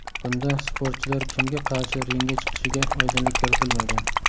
Bunda sportchilar kimga qarshi ringga chiqishiga oydinlik kiritilmagan.